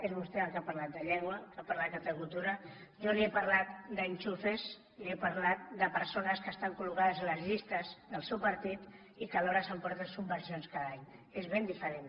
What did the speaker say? és vostè el que ha parlat de llengua el que ha parlat de cultura jo li he parlat d’enchufes li he parlat de persones que estan col·locades a les llistes del seu partit i que alhora s’emporten subvencions cada any és ben diferent